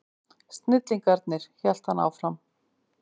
Snillingarnir, hélt hann áfram.